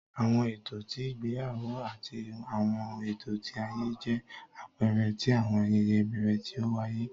Awọn ẹtọ ti igbeyawo ati awọn ẹtọ ti aye jẹ apẹẹrẹ ti awọn ayẹyẹ ibẹrẹ ti o waye